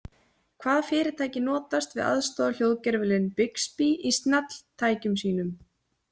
Hvaða fyrirtæki notast við aðstoðarhljóðgervilinn Bixby í snjalltækjum sínum?